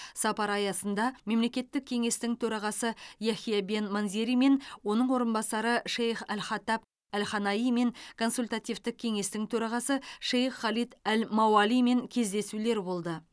сапар аясында мемлекеттік кеңестің төрағасы яхия бен манзеримен оның орынбасары шейх әл хатаб әл ханаимен консультативтік кеңестің төрағасы шейх халид әл мауалимен кездесулер болды